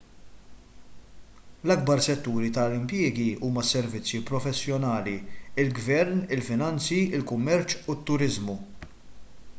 l-ikbar setturi tal-impjiegi huma s-servizzi professjonali il-gvern il-finanzi il-kummerċ u t-turiżmu